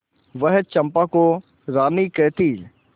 वह चंपा को रानी कहती